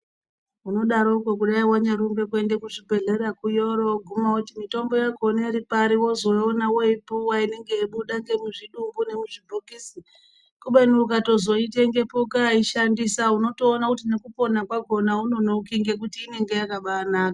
Unodseokwo kudai wanyarumbe kuende kuzvibhedhlera ku yoro woguma mitombo yakhona iri pari wozoiona yobuda muzvidumbu nemuzvibhokisi kubeni ukayosoitengeponukaiishandisa nekupona kwakhona aunonoki nhekuti inenge yakaba naka.